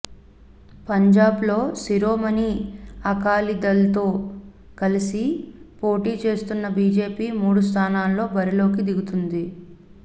పంజాబ్లో శిరోమణి అకాలీదళ్తో కలిసి పోటీ చేస్తున్న బీజేపీ మూడు స్థానాల్లో బరిలోకి దిగుతోంది